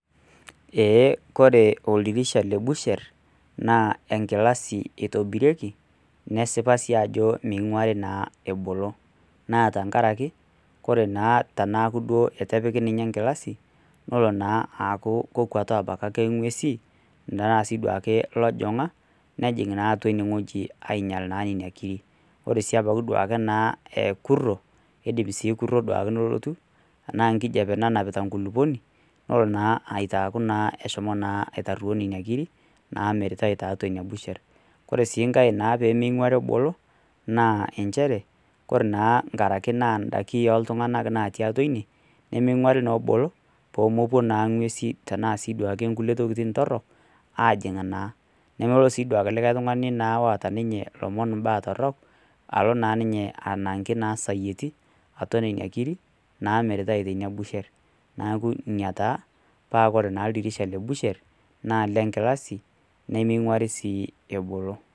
Ee ore oldirisha le busher, naa enkilasi eitobirieki, nesipa naa ajo sii meing'uari naa ebolo. Naa tenkaraki, ore naa teneaku eitu epiki ninye engilasi, nelo naa aaku kekwetu ake ing'uesi, anaa sii duo ake ilanjong'a, nejjing' naa atua ine wueji ainyal naa nena kirik. Ore naa sii ebaiki naa ekuro, eidip sii kuro duake nelotu anaa ekijape nananpita ekulukuoni, nelo naa aitaaku naa eshomo naa aitaruo ninye nena kirik naamiritai tiatua ine busher. Kore sii enkai naa pemeing'uari ebolo naa enchere, kore naa ebaiki naa indaiki oltung'ana naatii atua ine, nemeing'uari naa ebolo peemepuo naake ing'usi tnaake naa nkulie tokitin torok aajing' naa. Nelo sii duake ninye olikai tung'ani loata ninye, lomon ilbaa torok, alo naa ninyte anang'aki naa ninye isayieti, atua nena kirik, naamiritai teina busher. Neaku ina taa paa kore naa oldirisha le busher, naa lengilasi nemeing'uari sii ebolo.